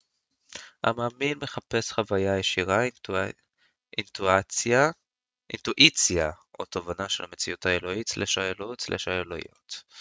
המאמין מחפש חוויה ישירה אינטואיציה או תובנה של המציאות האלוהית/האלוהות או האלוהויות